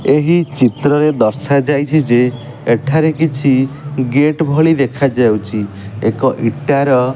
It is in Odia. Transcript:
ଏହି ଚିତ୍ରରେ ଦର୍ଶାଯାଇଛି ଯେ ଏଠାରେ କିଛି ଗେଟ୍ ଭଳି ଦେଖାଯାଉଛି ଏକ ଇଟାର --